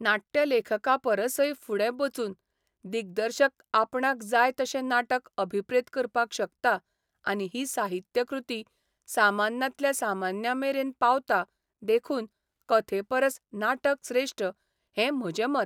नाट्यलेखकापरसय फुडें बचून दिग्दर्शक आपणाक जाय तशें नाटक अभिप्रेत करपाक शकता आनी ही साहित्यकृती सामान्यांतल्या सामान्यांमेरेन पावता देखून कथेपरस नाटक श्रेष्ठ हैं म्हजें मत.